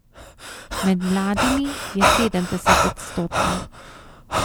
Med mladimi je sedemdesetodstotna.